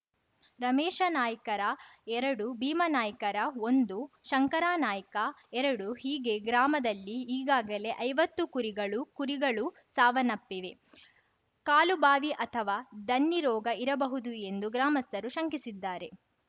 ರಮೇಶನಾಯ್ಕರ ಎರಡು ಭೀಮನಾಯ್ಕರ ಒಂದು ಶಂಕರನಾಯ್ಕ ಎರಡು ಹೀಗೆ ಗ್ರಾಮದಲ್ಲಿ ಈಗಾಗಲೇ ಐವತ್ತು ಕುರಿಗಳು ಕುರಿಗಳು ಸಾವನ್ನಪ್ಪಿವೆ ಕಾಲು ಬಾವಿ ಅಥವಾ ದನ್ನಿ ರೋಗ ಇರಬಹುದು ಎಂದು ಗ್ರಾಮಸ್ಥರು ಶಂಕಿಸಿದ್ದಾರೆ